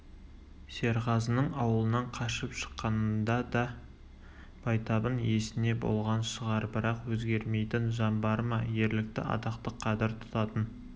серғазының ауылынан қашып шыққанында да байтабын есінде болған шығар бірақ өзгермейтін жан бар ма ерлікті атақты қадір тұтатын